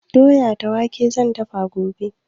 Doya da wake zan dafa gobe.